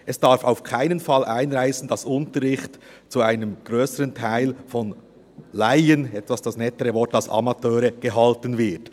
Es darf auf keinen Fall einreissen, dass Unterricht zu einem grösseren Teil von Laien – das nettere Wort als Amateure – gehalten wird.